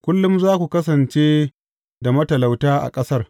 Kullum za ku kasance da matalauta a ƙasar.